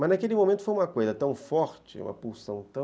Mas naquele momento foi uma coisa tão forte, uma pulsão tão...